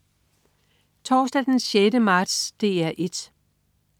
Torsdag den 6. marts - DR 1: